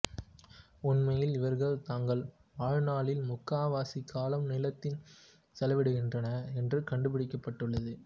உண்மையில் இவர்கள் தங்கள் வாழ்நாளில் முக்கால்வாசி காலம் நிலத்தில் செலவிடுகிறன என்று கண்டுபிடிக்கப்பட்டுள்ளது